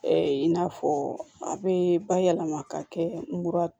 in n'a fɔ a bɛ bayɛlɛma ka kɛ mura